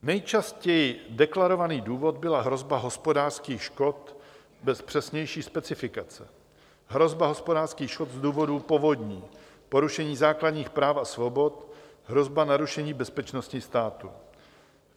Nejčastěji deklarovaný důvod byla hrozba hospodářských škod bez přesnější specifikace, hrozba hospodářských škod z důvodu povodní, porušení základních práv a svobod, hrozba narušení bezpečnosti státu.